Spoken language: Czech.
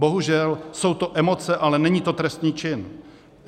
Bohužel jsou to emoce, ale není to trestný čin.